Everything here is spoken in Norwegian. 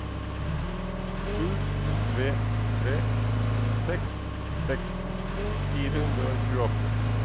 sju tre tre seks seksten fire hundre og tjueåtte